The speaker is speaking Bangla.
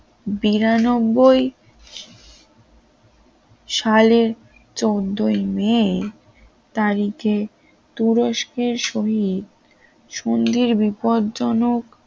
বিরানব্বই সালের চোদ্দ ই মে তারিখে তুরস্কের শহীদ সন্ধির বিপদজনক